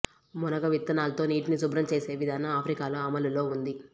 మునగ విత్తనాలతో నీటిని శుభ్రం చేసే విధానం ఆఫ్రికాలో అమలులో ఉంది